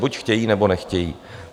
Buď chtějí, nebo nechtějí.